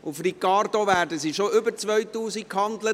Auf «Ricardo» werden diese bereits für über 2000 Franken gehandelt!